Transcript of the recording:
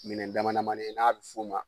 Minɛn dama damani ye n'a bi f'ɔma